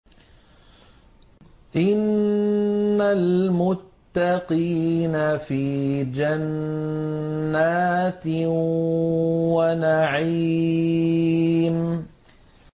إِنَّ الْمُتَّقِينَ فِي جَنَّاتٍ وَنَعِيمٍ